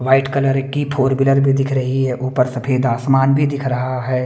White colour की four wheeler भी दिख रही है ऊपर सफेद आसमान भी दिख रहा है।